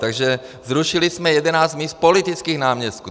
Takže zrušili jsme 11 míst politických náměstků.